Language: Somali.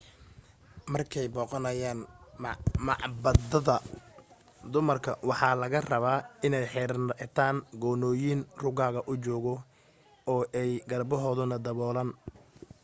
markay soo booqanayaan macbadada dumarka waxa laga rabaa inay xirtaan goonooyin ruugaga u jooga oo ay garbahoodana daboolaan